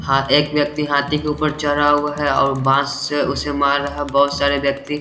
हा एक व्यक्ति हाथी के उपर चढ़ा हुआ है और बांस से उसे मार रहा है बहुत सारे व्यक्ति --